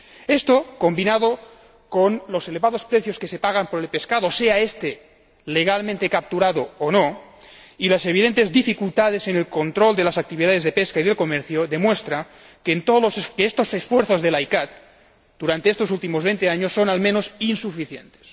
Esto, combinado con los elevados precios que se pagan por el pescado, sea este legalmente capturado o no, y las evidentes dificultades en el control de las actividades de pesca y de comercio demuestra que estos esfuerzos de la CICAA durante estos últimos 20 años son, al menos, insuficientes.